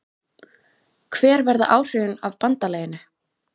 Hver verða áhrifin af BANDALAGINU?